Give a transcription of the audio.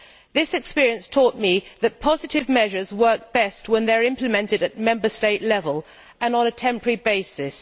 This experience taught me that positive measures work best when they are implemented at Member State level and on a temporary basis.